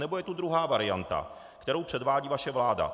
Anebo je tu druhá varianta, kterou předvádí vaše vláda.